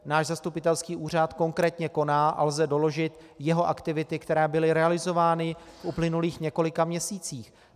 Náš zastupitelský úřad konkrétně koná a lze doložit jeho aktivity, které byly realizovány v uplynulých několika měsících.